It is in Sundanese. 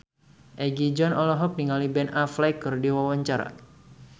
Egi John olohok ningali Ben Affleck keur diwawancara